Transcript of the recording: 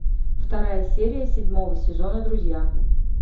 вторая серия седьмого сезона друзья